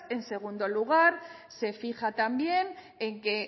en segundo lugar se fija también en que